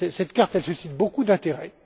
Cette carte suscite beaucoup d'intérêt.